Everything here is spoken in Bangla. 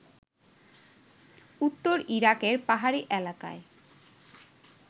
উত্তর ইরাকের পাহাড়ি এলাকায়